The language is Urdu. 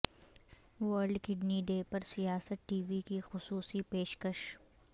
ورلڈ کڈنی ڈے پر سیاست ٹی وی کی خصوصی پیشکش